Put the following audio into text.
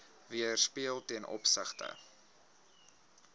weerspieël ten opsigte